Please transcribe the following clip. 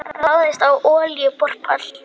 Ráðist á olíuborpall